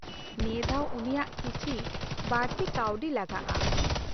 -ᱱᱤᱭᱟᱹ ᱫᱷᱟᱣ ᱩᱱᱤᱭᱟᱜ ᱠᱤᱪᱷᱤ ᱵᱟᱹᱲᱛᱤ ᱠᱟᱣᱰᱤ ᱞᱟᱜᱟᱜᱼᱟ ᱾